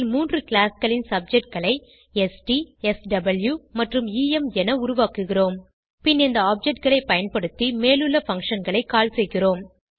இதில் மூன்று classகளின் objectகளை ஸ்ட் ஸ்வ் மற்றும் எம் என உருவாக்குகிறோம் பின் இந்த ஆப்ஜெக்ட் களை பயன்படுத்தி மேலுள்ள functionகளை கால் செய்கிறோம்